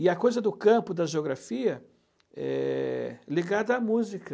E a coisa do campo, da geografia, é ligada à música.